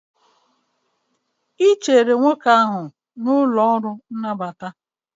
ị chere nwoke ahụ n'ụlọ ọrụ nnabata?